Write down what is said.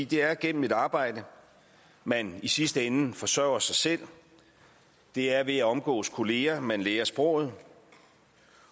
det er gennem et arbejde man i sidste ende forsørger sig selv det er ved at omgås kollegaer man lærer sproget